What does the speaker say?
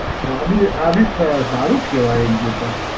તો આ બી આ બી સારું જ કહેવાય એક જોતાં.